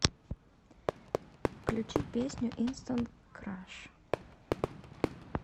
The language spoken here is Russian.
включи песню инстант краш